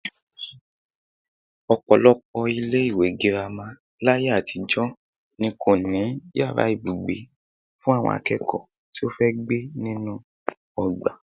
Ò̩pò̩lo̩pò̩ ilé-ìwé girama láyé àtijó̩ ni kò ní yàrá ibùgbé fún àwo̩n aké̩kò̩ó̩ tí ó fe gbé nínú o̩gbà